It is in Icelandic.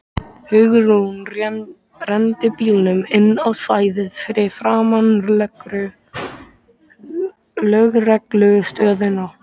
Hugrún renndi bílnum inn á stæðið fyrir framan lögreglustöðina.